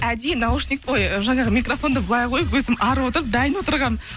әдейі наушник ой жаңағы микрофонды былай қойып өзім ары отырып дайын отырғанмын